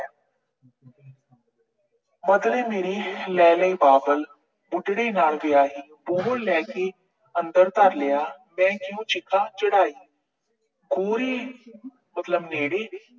ਬਦਲੇ ਮੇਰੇ ਲੈ ਲਏ ਬਾਬਲ, ਬੁਢੜੇ ਨਾਲ ਵਿਆਹੀ। ਬੂਹੋ ਲੈ ਕੇ ਅੰਦਰ ਧਰ ਲਿਆ, ਚੜਾਈ। ਮਤਲਬ ਮੇਰੇ